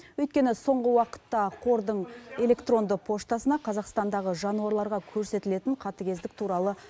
өйткені соңғы уақытта қордың электронды поштасына қазақстандағы жануарларға көрсетілетін қатыгездік туралы